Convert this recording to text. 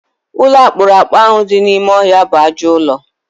Ụlọ akpụrụakpụ ahụ dị n'ime ọhịa bụ ajọọ ụlọ.